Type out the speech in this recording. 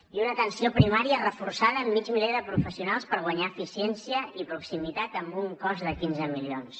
i una atenció primària reforçada amb mig miler de professionals per guanyar eficiència i proximitat amb un cost de quinze milions